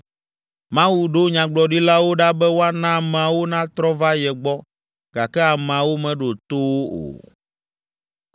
Mawu ɖo nyagblɔɖilawo ɖa be woana ameawo natrɔ va ye gbɔ gake ameawo meɖo to wo o.